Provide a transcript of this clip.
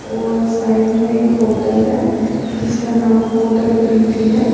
और साइड में एक होटल है जिसका नाम होटल प्रीति है।